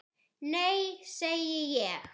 Nei segi ég.